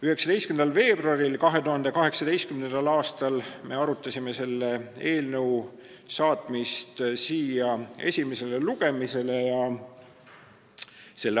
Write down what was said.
19. veebruaril 2018. aastal me arutasime selle eelnõu saatmist esimesele lugemisele.